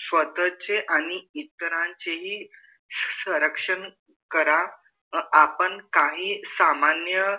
स्वतचे आणि इतरांचे ही सौरक्षण करा आपण काही सामान्य